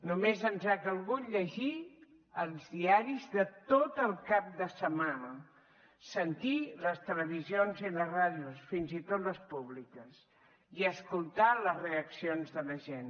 només ens ha calgut llegir els diaris de tot el cap de setmana sentir les televisions i les ràdios fins i tot les públiques i escoltar les reaccions de la gent